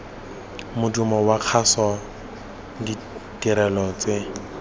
modumo wa kgaso ditirelo tse